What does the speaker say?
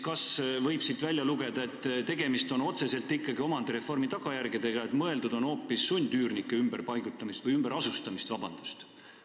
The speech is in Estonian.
Kas siit võib välja lugeda, et tegemist on otseselt ikkagi omandireformi tagajärgedega, et mõeldud on hoopis sundüürnike ümberasustamist?